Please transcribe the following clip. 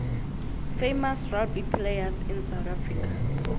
famous rugby players in south africa